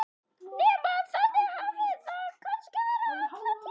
Nema að þannig hafi það kannski verið alla tíð.